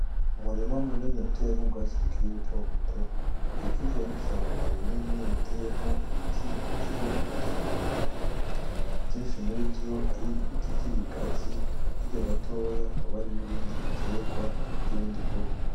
Umurima munini utewemwo ubwatsi bukiri buto buto, bukikijwe n'ishamba rinini riteyemwo ibiti vy'ubwoko butandukanye vyinshi murivyo ari ibiti vy'ibigazi, hirya gatoya hakaba hari n'ibindi biterwa vy'ubundi bwoko.